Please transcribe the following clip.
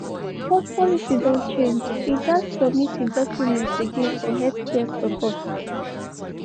bcoz policy don change e gats submit e docomeents again for healthcare support.